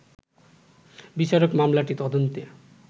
বিচারক মামলাটি তদন্তে